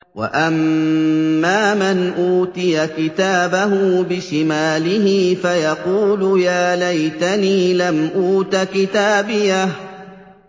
وَأَمَّا مَنْ أُوتِيَ كِتَابَهُ بِشِمَالِهِ فَيَقُولُ يَا لَيْتَنِي لَمْ أُوتَ كِتَابِيَهْ